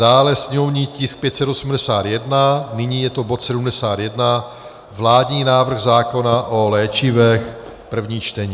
dále sněmovní tisk 581, nyní je to bod 71, vládní návrh zákona o léčivech, první čtení.